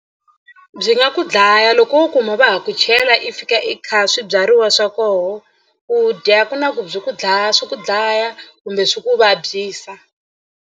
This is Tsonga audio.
Byi nga ku dlaya loko wo kuma va ha ku chela i fika i kha swibyariwa swa kona u dya ku na ku byi ku dlaya swi ku dlaya kumbe swi ku vabyisa.